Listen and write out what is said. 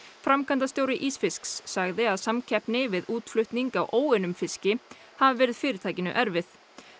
framkvæmdastjóri ísfisks sagði að samkeppni við útflutning á óunnum fiski hafi verið fyrirtækinu erfið